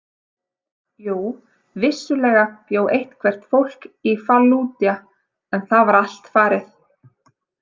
Jú, vissulega bjó eitthvert fólk í Fallúdja en það var allt farið.